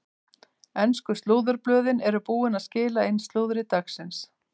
Ensku slúðurblöðin eru búin að skila inn slúðri dagsins.